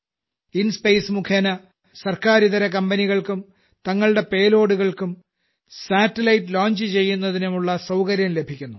കി ടുമരല മുഖേന സർക്കാരിതര കമ്പനികൾക്കും തങ്ങളുടെ പേലോഡ്സ് നും സാറ്റലൈറ്റ് ലോഞ്ച് ചെയ്യുന്നതിനുമുള്ള സൌകര്യം ലഭിക്കുന്നു